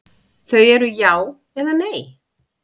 Þau eru já eða nei.